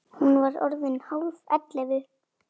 Hún var orðin hálf ellefu.